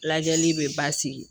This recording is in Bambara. Lajɛli bɛ basigi